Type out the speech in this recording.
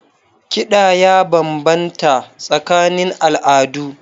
Kiɗa ya bambanta tsakanin al'adu.